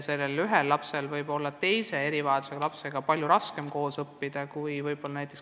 Mõnel lapsel võib olla raskem õppida koos teiste erivajadustega lastega.